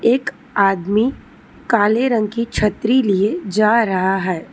एक आदमी काले रंग की छतरी लिए जा रहा है।